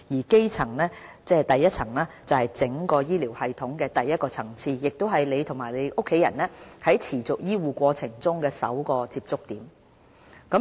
"基層"是整個醫療系統的第一個層次，亦是你和你家人在持續醫護過程中的首個接觸點。